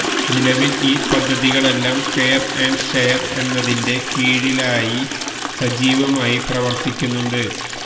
നിലവില് ഈ പദ്ധതികളെല്ലാം കെയര് ആന്റ് ഷെയര് എന്നതിന്റെ കീഴിലായി സജീവമായി പ്രവര്ത്തിക്കുന്നുണ്ട്